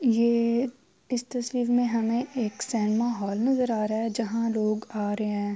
یہ اس تشویر مے ہمیں ایک سنیما ہال نظر آ رہا ہے۔ جہا لوگ آ رہے ہے۔